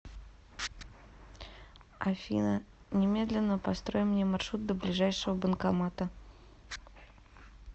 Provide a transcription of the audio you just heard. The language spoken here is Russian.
афина немедленно построй мне маршрут до ближайшего банкомата